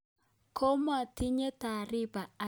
Komaatinye taariba agetugul akobo inendet